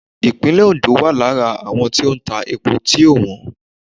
. Ìpínlè Ondo wà lára àwọn tó ń tà epo tieò wọ́n.